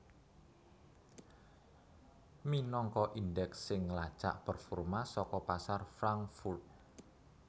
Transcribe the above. minangka indeks sing nglacak performa saka pasar Frankfurt